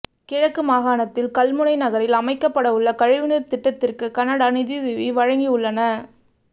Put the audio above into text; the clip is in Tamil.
கிழக்கு மாகாணத்தில் கல்முனை நகரில் அமைக்கப்படவுள்ள கழிவுநீர் திட்டத்திற்கு கனடா நிதியுதவி வழங்கவுள்ள